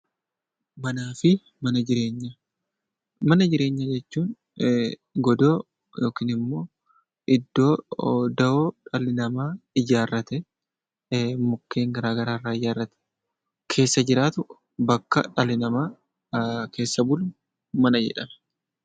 Manaa fi mana jireenyaa Mana jireenyaa jechuun godoo yookiin immoo iddoo dawoo dhalli namaa ijaarratee mukkeen garaa garaa irraa ijaarratee keessa jiraatu bakka dhalli namaa keessa bulu 'Mana' jedhama.